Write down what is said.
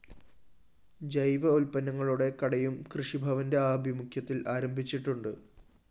ജൈവ ഉത്പന്നങ്ങളുടെ കടയും കൃഷിഭവന്റെ ആഭിമുഖ്യത്തില്‍ ആരംഭിച്ചിട്ടുണ്ട്